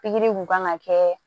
Pikiri kun kan ka kɛ